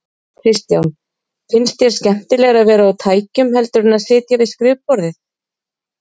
Kristján: Finnst þér skemmtilegra að vera á tækjum heldur en að sitja við skrifborðið?